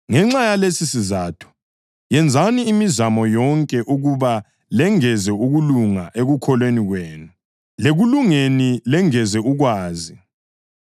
Ngenxa yalesisizatho, yenzani imizamo yonke ukuba lengeze ukulunga ekukholweni kwenu; lekulungeni lengeze ukwazi;